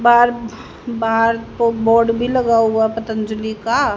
बार बाहर को बोर्ड भी लगा हुआ पतंजलि का।